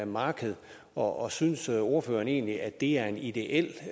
marked og synes ordføreren egentlig at det er en ideel